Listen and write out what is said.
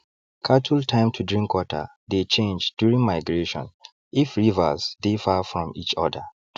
cattle time to drink water dey change during migration if rivers dey far from each other